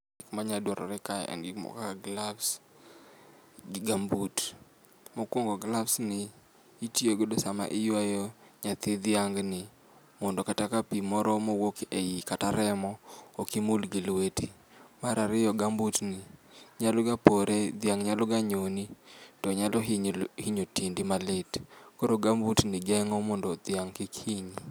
Gik manya dwarore ka gin gik kaka gloves gi gumboot. Mokuongo gloves gi itiyo go sama iywayo nyathi dhiang ni mondo kata ka pii moro mowuok ei kata remo ok imul gi lweti. Mar ariyo gumboot ni nyalo ga pore, dhiang nyalo ga nyoni to nyalo nhinyo tiendi malit, koro gumboot ni konyo mondo dhiang kik hinyi